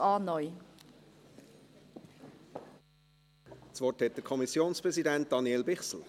Das Wort hat der Kommissionspräsident, Daniel Bichsel.